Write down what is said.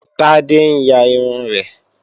Tádé ń ya irun rẹ̀